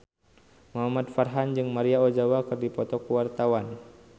Muhamad Farhan jeung Maria Ozawa keur dipoto ku wartawan